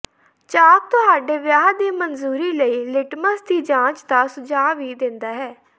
ਚਾਕ ਤੁਹਾਡੇ ਵਿਆਹ ਦੀ ਮਨਜ਼ੂਰੀ ਲਈ ਲਿਟਮਸ ਦੀ ਜਾਂਚ ਦਾ ਸੁਝਾਅ ਵੀ ਦਿੰਦਾ ਹੈ